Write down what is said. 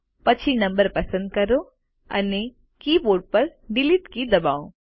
પછી નંબર પસંદ કરો અને કીબોર્ડ પર ડીલીટ કી દબાવો